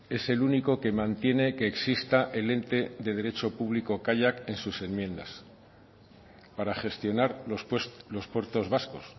es el único que mantiene que exista el ente de derecho público kaiak en sus enmiendas para gestionar los puertos vascos